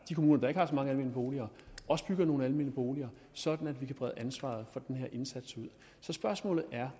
de kommuner der ikke har så mange almene boliger også bygger nogle almene boliger sådan at vi kan brede ansvaret for den her indsats ud spørgsmålet